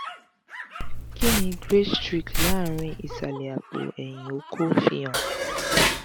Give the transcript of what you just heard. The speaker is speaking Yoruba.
kini grey streak lanrin isale apo eyin oko fi han?